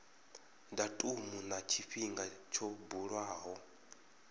datumu na tshifhinga tsho buliwaho